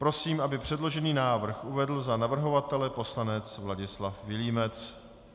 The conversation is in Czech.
Prosím, aby předložený návrh uvedl za navrhovatele poslanec Vladislav Vilímec.